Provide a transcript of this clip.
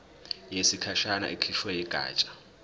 yesikhashana ekhishwe yigatsha